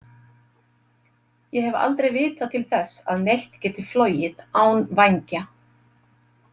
Ég hef aldrei vitað til þess að neitt geti flogið án vængja